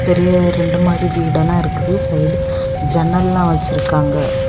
நிறைய ரெண்டு மாடி வீடு எல்லாம் இருக்குது சைடு ஜன்னல் எல்லாம் வச்சிருக்காங்க.